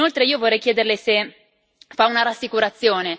Inoltre, io vorrei chiederle se fa una rassicurazione.